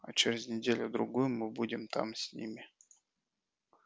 а через неделю-другую мы будем там с ними